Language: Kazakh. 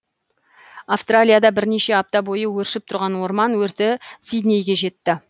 австралияда бірнеше апта бойы өршіп тұрған орман өрті сиднейге жетті